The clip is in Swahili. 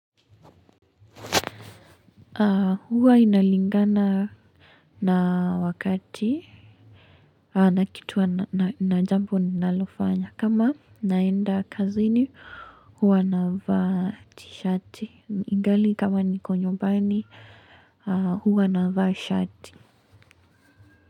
Huwa inalingana na wakati na kitu, na jambo nalofanya kama naenda kazini huwa na vaa tishati ingali kama niko nyumbani huwa navaa shati.